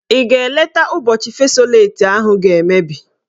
Ị ga eleta ụbọchị fesoleti ahụ ga-emebi?